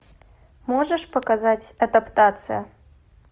можешь показать адаптация